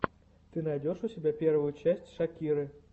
ты найдешь у себя первую часть шакиры